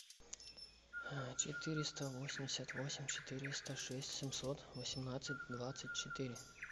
четыреста восемьдесят восемь четыреста шесть семьсот восемнадцать двадцать четыре